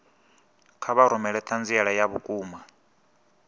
kha vha rumele ṱhanziela ya vhukuma